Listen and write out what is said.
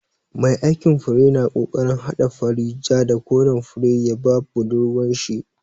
Mai aikin fure na kokarin hada fari, ja, da koren fure ya ba budurwar shi.